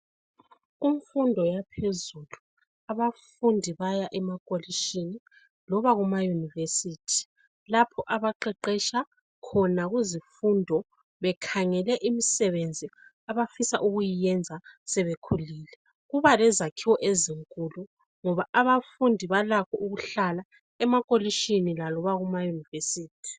Imfundo yaphezulu. Abafundi baya emakolitshini loba ema University lapho abaqeqetsha khona kuzifundo bekhangele imisebenzi abafisa ukuyiyenza sebekhulile .Kuba lezakhiwo ezinkulu ngoba abafundi balakho ukuhlala emakolitshini laloba ema University.